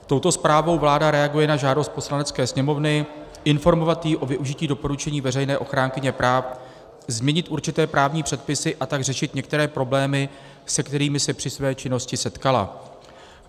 Touto zprávou vláda reaguje na žádost Poslanecké sněmovny informovat ji o využití doporučení veřejné ochránkyně práv změnit určité právní předpisy, a tak řešit některé problémy, se kterými se při své činnosti setkala.